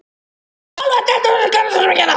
Ég er alveg að detta úr karakter hérna.